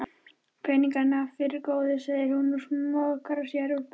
Peningana fyrst góði, segir hún og smokrar sér úr buxunum.